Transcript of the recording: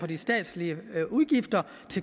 de statslige